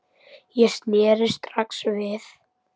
Ég sneri strax við.